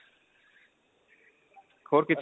ਹੋਰ ਕਿੱਥੇ